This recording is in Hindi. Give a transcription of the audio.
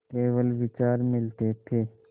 केवल विचार मिलते थे